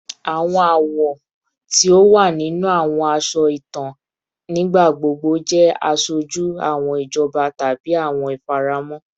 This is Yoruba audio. Awọn awọ ti o wa ninu awọn aṣọ itan nigbagbogbo jẹ aṣoju awọn ijọba tabi awọn ifaramọ